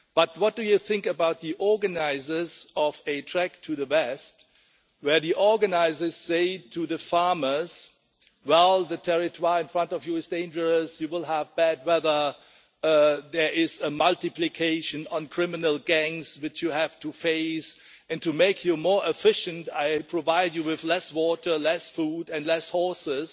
But what do you think about the organisers of a trek to the west where the organisers say to the farmers well, the territoire' in front of you is dangerous, you will have bad weather, there is a multiplication on criminal gangs which you have to face, and to make you more efficient I provide you with less water, less food and less horses,